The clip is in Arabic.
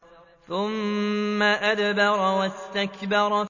ثُمَّ أَدْبَرَ وَاسْتَكْبَرَ